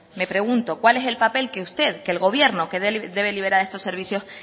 me pregunto cuál es el papel que usted que el gobierno que debe liberar estos servicios